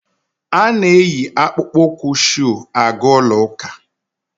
A na-eyi akpụkpọ ụkwụ shuu aga ụlọ ụka.